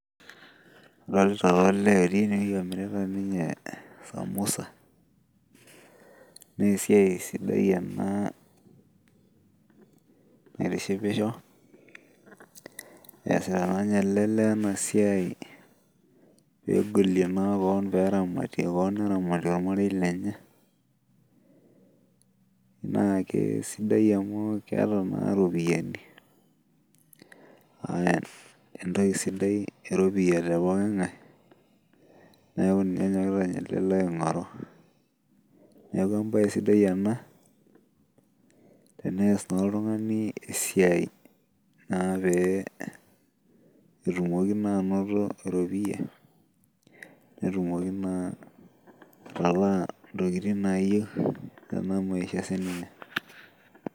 odolita taa olee otii eneweji amirisho emirita naa samosa naa esiai sidai ena naitishipisho eesita naa ele lee ena siai pee egolie kewon neramatie olmarei lenye, naa kisidai amu keeta naa iropiyiani aa entoki sidai eropiyia tepoki ng'ae, neeku naa enyokita naa ele lee aing'oru, tenees naa oltung'ani esiai naa pee etumoki naa anoto, iropiyiani netumoki naa atalaa intokitin naa yieu tena maisha.